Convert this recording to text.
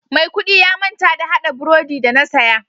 Mai kudi ya manta da hada brodi da na saya.